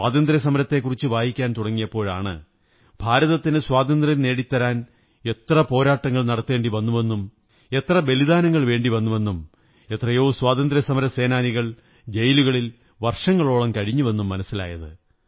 സ്വാതന്ത്ര്യസമരത്തെക്കുറിച്ചു വായിക്കാൻ തുടങ്ങിയപ്പോഴാണ് ഭാരതത്തിനു സ്വാതന്ത്ര്യം നേടിത്തരാൻ എത്ര പോരാട്ടങ്ങൾ നടത്തേണ്ടി വന്നുവെന്നും എത്ര ബലിദാനങ്ങൾ വേണ്ടിവന്നുവെന്നും എത്രയോ സ്വാതന്ത്ര്യസമരസേനാനികൾ ജയിലുകളിൽ വര്ഷവങ്ങളോളം കഴിഞ്ഞുവെന്നും മനസ്സിലായത്